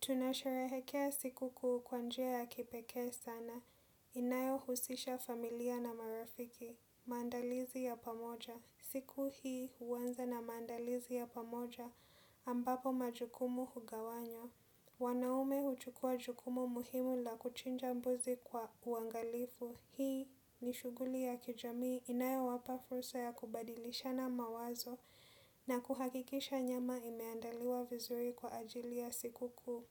Tunasharehekea sikuku kwa njia ya kipeke sana. Inayo husisha familia na marafiki. Mandalizi ya pamoja. Siku hii uwanza na mandalizi ya pamoja ambapo majukumu hugawanywa. Wanaume huchukua jukumu muhimu la kuchinja mbuzi kwa uangalifu. Hii ni shuguli ya kijami inayo wapa fursa ya kubadilishana mawazo na kuhakikisha nyama imeandaliwa vizuri kwa ajili ya sikuku.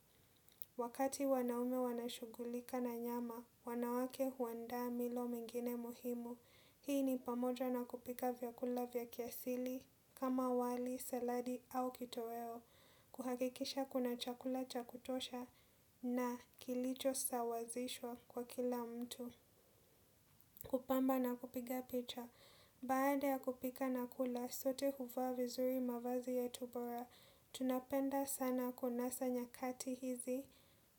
Wakati wanaume wanashugulika na nyama, wanawake huwanda milo mingine muhimu. Hii ni pamoja na kupika vyakula vya kiasili kama wali, saladi au kitoweo. Kuhakikisha kuna chakula cha kutosha na kilicho sawazishwa kwa kila mtu. Kupamba na kupiga picha, baada ya kupika na kula, sote huva vizuri mavazi ya tubora, tunapenda sana kunasa nyakati hizi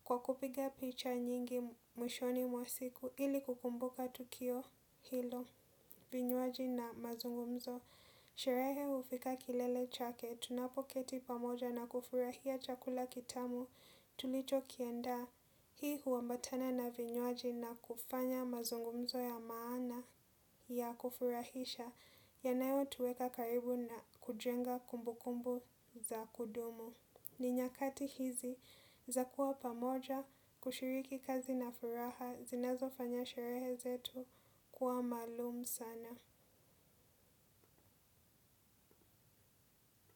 kwa kupiga picha nyingi mwishoni mwa siku ili kukumbuka tukio hilo, vinyuaji na mazungumzo. Sherehe ufika kilele chake, tunapoketi pamoja na kufurahia chakula kitamu tulicho kienda, hii huambatana na vinyoaji na kufanya mazungumzo ya maana ya kufurahisha, yanayotuweka karibu na kujenga kumbu kumbu za kudumu. Ninyakati hizi, za kuwa pamoja, kushiriki kazi na furaha, zinazo fanya sherehe zetu, kuwa malum sana.